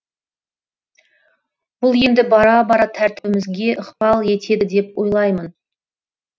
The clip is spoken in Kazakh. бұл енді бара бара тәртібімізге ықпал етеді деп ойлаймын